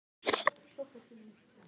sagði Finnur.